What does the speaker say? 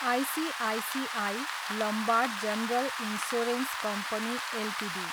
ICICI Lombard General Insurance Company Ltd